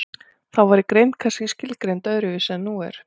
Þá væri greind kannski skilgreind öðru vísi en nú er.